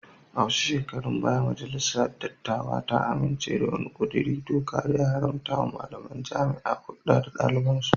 A wasu shekarun baya majalisar dattawa ta amince da wani kudirin doka da ya haramtawa malamain jaami'a hulda da dalibansu